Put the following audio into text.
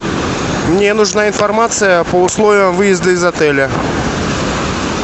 мне нужна информация по условиям выезда из отеля